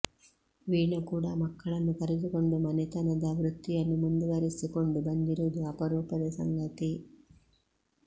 ವೀಣಾ ಕೂಡಾ ಮಕ್ಕಳನ್ನು ಕರೆದುಕೊಂಡು ಮನೆತನದ ವೃತ್ತಿಯನ್ನು ಮುಂದುವರೆಸಿ ಕೊಂಡು ಬಂದಿರುವುದು ಅಪರೂಪದ ಸಂಗತಿ